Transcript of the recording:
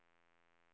dömdes